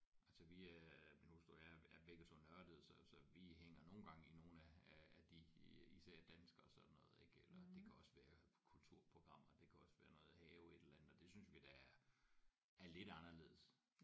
Altså vi øh min hustru og jeg er er begge 2 nørdede så så vi hænger nogle gange i nogle af af de især danske sådan noget ikke eller det kan også være kulturprogrammer det kan også være noget have et eller andet og det synes vi da er lidt anderledes